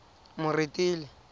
moretele